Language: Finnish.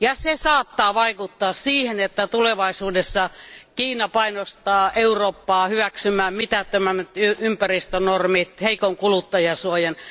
Se saattaa vaikuttaa siihen, että tulevaisuudessa Kiina painostaa Eurooppaa hyväksymään mitättömämmät ympäristönormit, heikon kuluttajansuojan.